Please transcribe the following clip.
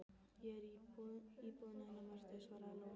Ég er í íbúðinni hennar Mörtu, svaraði Lóa.